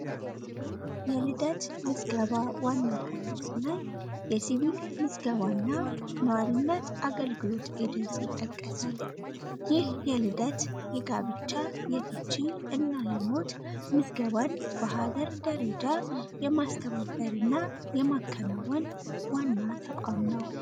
የልደት ምዝገባ ዋና ከለስናይ የሲቪል ምዝገባ እና ነዋሪነት አገልግሎት ኤጀንስ ይጠቀሳል ይህ የልደት የጋብቻ የፍቺ እና የሞት ምዝገባን በሀገር ደረጃ የማስተባበር እና የማከናወን ዋና ተቋም ነው።